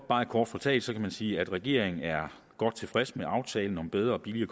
meget kort fortalt sige at regeringen er godt tilfreds med aftalen om bedre og billigere